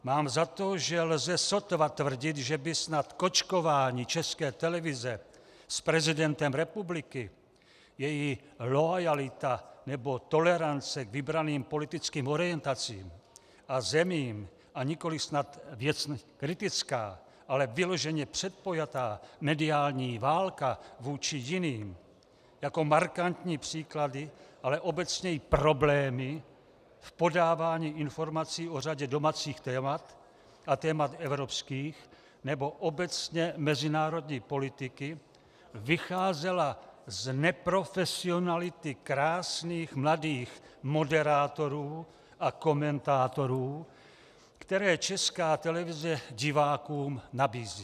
Mám za to, že lze sotva tvrdit, že by snad kočkování České televize s prezidentem republiky, její loajalita nebo tolerance k vybraným politickým orientacím a zemím, a nikoliv snad věcně kritická, ale vyloženě předpojatá mediální válka vůči jiným jako markantní příklady, ale obecněji problémy v podávání informací o řadě domácích témat a témat evropských nebo obecně mezinárodní politiky vycházela z neprofesionality krásných mladých moderátorů a komentátorů, které Česká televize divákům nabízí.